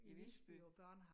I Visby